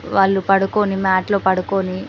వాళ్ళు పడుకొని మాట్ లో పడుకొని --